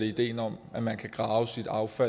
ideen om at man kan grave sit affald